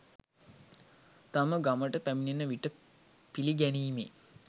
තම ගමට පැමිණෙන විට පිළිගැනීමේ